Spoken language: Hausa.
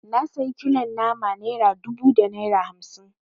Na sayi kilon nama naira dubu da naira hamsi